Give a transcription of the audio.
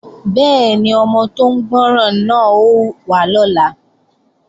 Bẹ́ẹ̀ni, ọmọ tó ń gbọ́ràn náà ó wá lọ́la